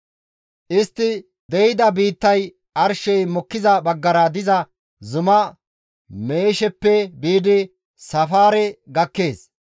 Istti de7ida biittay arshey mokkiza baggara diza zuma Meesheppe biidi Safaare gakkees.